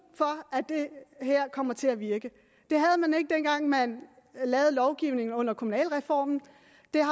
for at det her kommer til at virke det havde man ikke dengang man lavede lovgivningen under kommunalreformen